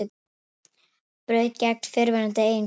Braut gegn fyrrverandi eiginkonu